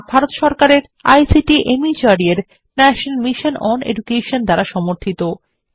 এটি ভারত সরকারের আইসিটি মাহর্দ এর ন্যাশনাল মিশন ওন এডুকেশন দ্বারা সমর্থিত